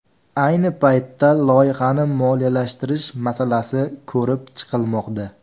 Ayni paytda loyihani moliyalashtirish masalasi ko‘rib chiqilmoqda.